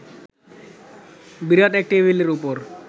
বিরাট এক টেবিলের ওপর